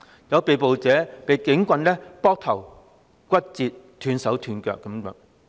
有被捕者遭警棍打頭，亦有人骨折、斷手斷腳等。